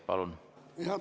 Palun!